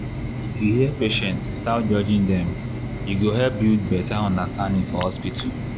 if you hear patients without judging dem e go help build better understanding for hospital.